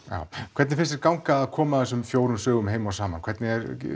hvernig finnst þér ganga að koma þessum fjórum sögum heim og saman hvernig